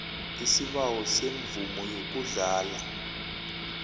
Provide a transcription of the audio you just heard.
isibawo semvumo yokuhlala